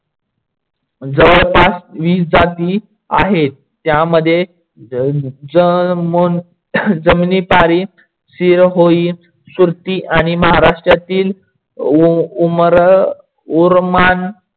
जवळपास वीस जाती आहेत. ज्यामध्ये जमीनिपारि, सीरहोई, सुरती आणि महाराष्ट्रातील उरमान